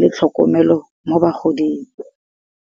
le tlhokomelo mo ba goding.